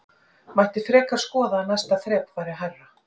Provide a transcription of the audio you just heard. Mætti frekar skoða að næsta þrep væri hærra?